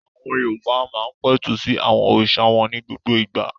Àwọn Yorùbá máa ń pẹ̀tù sí àwọn òrìṣà wọn ní gbogbo ìgbà.